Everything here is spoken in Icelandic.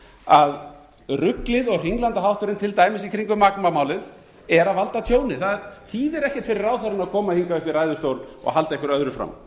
að ruglið og hringlandahátturinn til dæmis í kringum magma málið að valda tjóni það þýðir ekkert fyrir ráðherrann að koma hingað upp í ræðustól og halda einhverju öðru fram